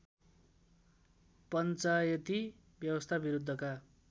पञ्चायती व्यवस्था विरुद्धका